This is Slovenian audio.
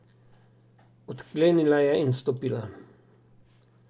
Odklenila je in vstopila.